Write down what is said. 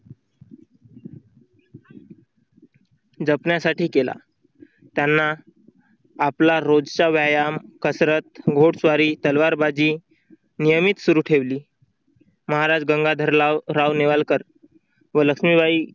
जपण्यासाठी केला. त्यांना आपला रोजचा व्यायाम, कसरत, घोडस्वारी, तलवारबाजी नियमित सुरू ठेवली. महाराज गंगाधरराव नेवालकर व लक्ष्मीबाई